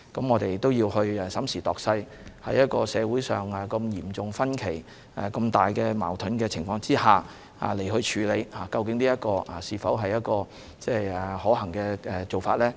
我們要審時度勢，在社會出現嚴重分歧和矛盾的情況之下，究竟這是否可行的做法呢？